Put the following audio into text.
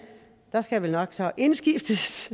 der skal jeg så indskiftes